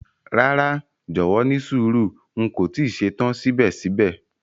Rara, jọwọ nísùúrù, n ko ti ṣetan sibẹ̀sibẹ̀.